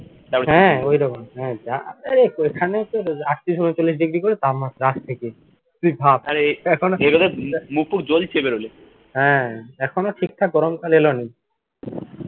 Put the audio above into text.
হ্যা ঐরকমই এইখানে তোর আটত্রিশ উনচল্লিশ degree করে তাপমাত্রা আজ থেকে তুই ভাব হ্যা এখনো ঠিকঠাক গরমকাল এলোনি